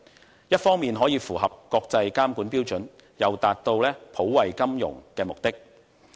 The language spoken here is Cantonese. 這一方面可以符合國際監管標準，又達到普惠金融的目的。